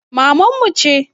Maman mu ce